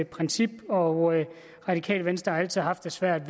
princip og radikale venstre har altid haft det svært